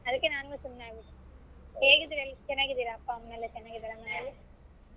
ಅದಕ್ಕೆ ನಾನು ಸುಮ್ನಾಗ್ಬಿಟ್ಟೆ ಹೇಗಿದ್ದೀರ ಎಲ್ಲಾ ಚೆನ್ನಾಗಿದ್ದೀರ ಅಪ್ಪ ಅಮ್ಮ ಎಲ್ಲಾ ಚೆನ್ನಾಗಿದ್ದಾರ ಮನೇಲಿ?